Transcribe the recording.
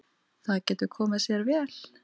Það getur komið sér vel.